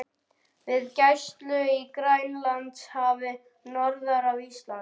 við gæslu í Grænlandshafi norður af Íslandi.